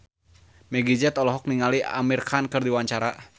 Meggie Z olohok ningali Amir Khan keur diwawancara